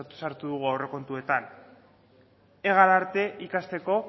sartu dugu aurrekontuetan ega arte ikasteko